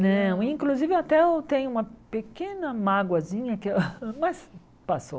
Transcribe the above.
Não, inclusive até eu tenho uma pequena mágoazinha, que eu mas passou.